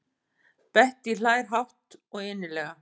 Bettý hlær hátt og innilega.